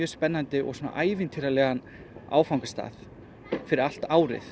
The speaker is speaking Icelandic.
spennandi og ævintýralegan áfangastað fyrir allt árið